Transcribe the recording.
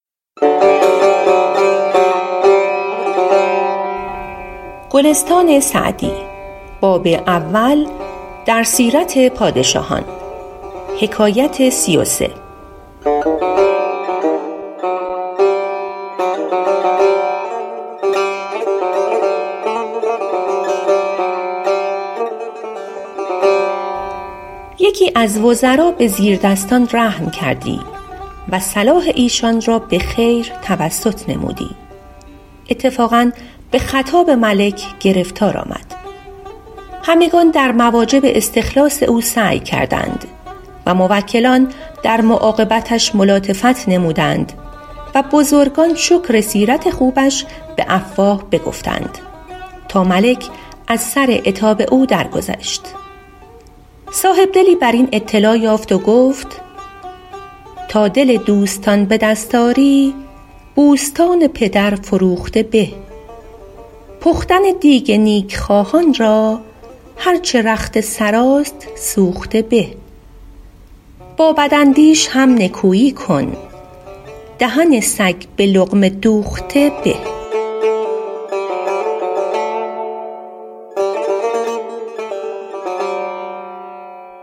یکی از وزرا به زیردستان رحم کردی و صلاح ایشان را به خیر توسط نمودی اتفاقا به خطاب ملک گرفتار آمد همگنان در مواجب استخلاص او سعی کردند و موکلان در معاقبتش ملاطفت نمودند و بزرگان شکر سیرت خوبش به افواه بگفتند تا ملک از سر عتاب او درگذشت صاحبدلی بر این اطلاع یافت و گفت ﺗﺎ دل دوﺳﺘﺎن ﺑﻪ دﺳﺖ ﺁری ﺑﻮﺳﺘﺎن ﭘﺪر ﻓﺮوﺧﺘﻪ ﺑﻪ پختن دیگ نیکخواهان را هر چه رخت سراست سوخته به ﺑﺎ ﺑﺪاﻧﺪﻳﺶ هم ﻧﻜﻮﻳﻰ کن دهن ﺳﮓ ﺑﻪ ﻟﻘﻤﻪ دوﺧﺘﻪ ﺑﻪ